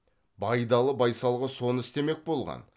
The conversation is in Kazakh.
байдалы байсалғы соны істемек болған